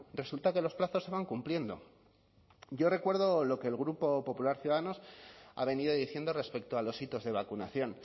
resulta que los plazos se van cumpliendo yo recuerdo lo que el grupo popular ciudadanos ha venido diciendo respecto a los hitos de vacunación